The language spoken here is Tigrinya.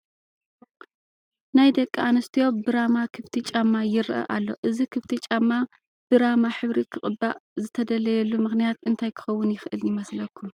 ናይ ደቂ ኣንስቲዮ ብራማ ክፍቲ ጫማ ይርአ ኣሎ፡፡ እዚ ክፍቲ ጫማ ብራማ ሕብሪ ክቕባእ ዝተደለየሉ ምኽንያት እንታይ ክኸውን ይኽእል ይመስለኩም?